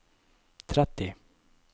tretti